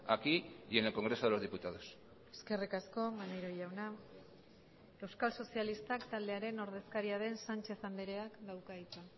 aquí y en el congreso de los diputados eskerrik asko maneiro jauna euskal sozialistak taldearen ordezkaria den sánchez andreak dauka hitza